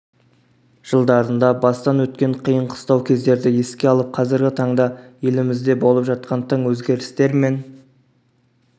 жылдарында бастан өткен қиын-қыстау кездерді еске алып қазіргі таңда елімізде болып жатқан тың өзгерістер мен